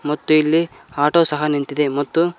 ಮತ್ತು ಇಲ್ಲಿ ಆಟೋ ಸಹ ನಿಂತಿದೆ ಮತ್ತು--